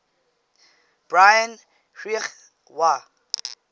brian greig wa